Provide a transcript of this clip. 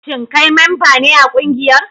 Shin kai memba ne a kungiyar?